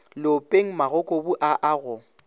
leopeng magokobu a a go